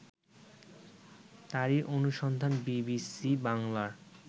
তারই অনুসন্ধান বিবিসি বাংলার